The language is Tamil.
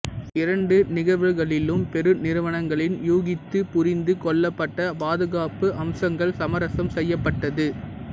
இரண்டு நிகழ்வுகளிலும் பெரு நிறுவனங்களின் யூகித்து புரிந்து கொள்ளப்பட்ட பாதுகாப்பு அம்சங்கள் சமரசம் செய்யப்பட்டது